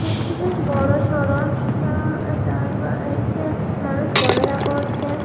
মাছটি বেশ বড়োসড়ো। আ ও এ একটি মানুষ ক্যামেরা করছে।